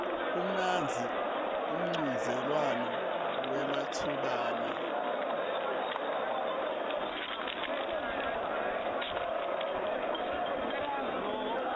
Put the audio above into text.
umnandzi umchudzelwano wematubane